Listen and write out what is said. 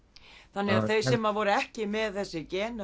þannig að þau sem voru ekki með þessi gen